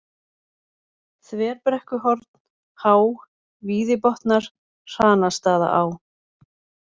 Þverbrekkuhorn, Há, Víðibotnar, Hranastaðaá